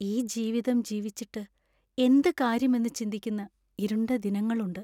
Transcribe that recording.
ഈ ജീവിതം ജീവിച്ചിട്ട് എന്ത് കാര്യം എന്ന് ചിന്തിക്കുന്ന ഇരുണ്ട ദിനങ്ങളുണ്ട്.